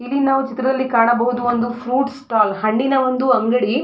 ಇಲ್ಲಿ ನಾವು ಚಿತ್ರದಲ್ಲಿ ಕಾಣಬಹುದು ಒಂದು ಫ್ರೂಟ್ಸ್ ಸ್ಟಾಲ್ ಹಣ್ಣಿನ ಒಂದು ಅಂಗಡಿ.